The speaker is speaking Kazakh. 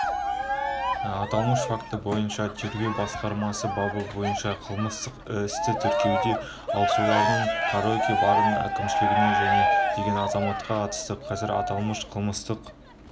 аталмыш факті бойынша тергеу басқармасы бабы бойынша қылмыстық істі тексеруде ал цойлардың караоке-барының әкімшілігіне және деген азаматқа қатысты қазір аталмыш қылмыстық